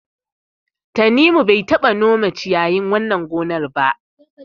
Tanimu bai taɓa nome ciyayin wannan gonar ba.